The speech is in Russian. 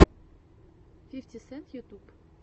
фифтин сент ютюб